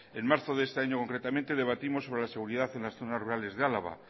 en marzo de este año concretamente debatimos sobre la seguridad en las zonas rurales de álava